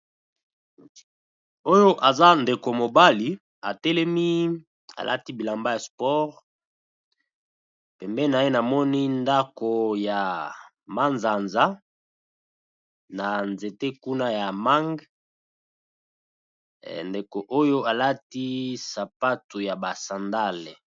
Oyo aza ndeko mobali a telemi a lati bilamba ya sport, Pembeni na ye, na moni ndaku ya mazanza na nzete kuna ya mangue, ndeko oyo alati sapato ya ba sandales .